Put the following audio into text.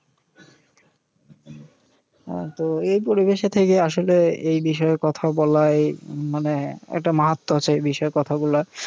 তো এই পরিবেশে থেকে আসলে এই বিষয়ে কথা বলাই মানে একটা মাহাত্ম আছে এই বিষয় কথাগুলার।